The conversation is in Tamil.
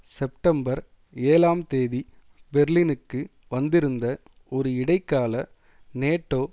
செப்டம்பர் ஏழாம் தேதி பெர்லினுக்கு வந்திருந்த ஒரு இடைக்கால நேட்டோ